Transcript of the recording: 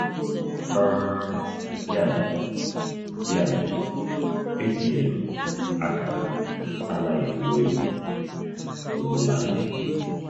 um Ya mere, Ya mere, etinyere m akara 'Anaghị Egbu Egbu' n'ụlọ anyị.